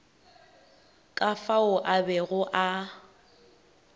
ka fao a bego a